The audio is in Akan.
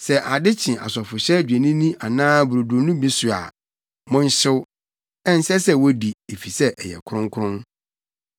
Sɛ ade kye asɔfohyɛ dwennini anaa brodo no bi so a, monhyew. Ɛnsɛ sɛ wodi, efisɛ ɛyɛ kronkron.